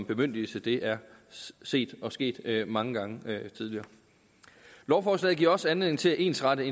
bemyndigelse det er set og sket mange gange tidligere lovforslaget giver også anledning til at ensrette